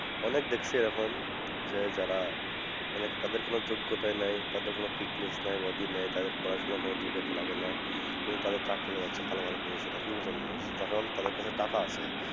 অনেক দেখছি এরকম যে যারা মানে তাদের কোনো যোগ্যতাই নাই তাদের কোনো fitness নাই body নাই তাদের পড়াশুনার কোনো যোগ্যতা লাগেনা কিন্তু তাদের চাকরি হয়ে যাচ্ছে ভালো ভালো position এ কি জন্য যখন তাদের কাছে টাকা আছে